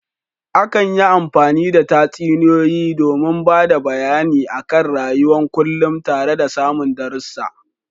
Akan yi amfani da tsatsuniya domin bada bayane a kan rayuwan kunlum tara da samun darasa